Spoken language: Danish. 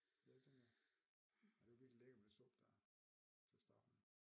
Ja det tænker jeg det var virkelig lækkert med det suppe der til at starte med